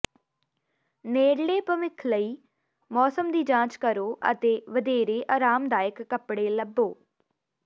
ਨੇੜਲੇ ਭਵਿੱਖ ਲਈ ਮੌਸਮ ਦੀ ਜਾਂਚ ਕਰੋ ਅਤੇ ਵਧੇਰੇ ਆਰਾਮਦਾਇਕ ਕੱਪੜੇ ਲੱਭੋ